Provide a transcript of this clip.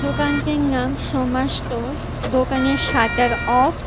দোকানটির নাম সোমা স্টোরস দোকানের সাটার অফ ।